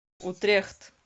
утрехт